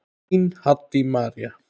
Þín, Haddý María.